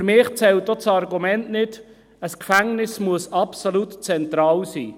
Für mich zählt auch das Argument nicht, ein Gefängnisse müsse absolut zentral sein.